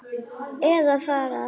Eða fara að hlæja.